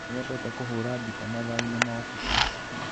Nĩendete kũhũra gita mathaainĩ ma ũtukũ.